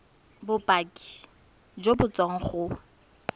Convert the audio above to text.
bopaki jo bo tswang go